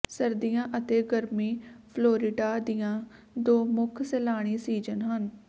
ਸਰਦੀਆਂ ਅਤੇ ਗਰਮੀ ਫਲੋਰਿਡਾ ਦੀਆਂ ਦੋ ਮੁੱਖ ਸੈਲਾਨੀ ਸੀਜਨ ਹਨ